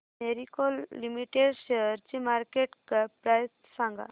Marico limited शेअरची market cap price सांगा